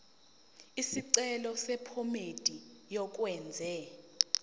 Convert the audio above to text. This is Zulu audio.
isicelo sephomedi yokwenze